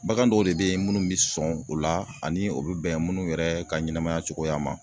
Bagan dɔw de be ye munnu be sɔn o la ani o bi bɛn munnu yɛrɛ ka ɲɛnɛmaya cogoya ma.